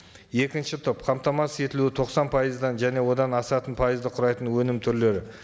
екінші топ қамтамасыз етілуі тоқсан пайыздан және одан асатын пайызды құрайтын өнім түрлері